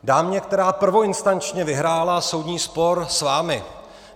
Dámě, která prvoinstančně vyhrála soudní spor s vámi.